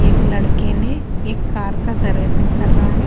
एक लड़के ने एक कार का सर्विसिंग कर रहा है।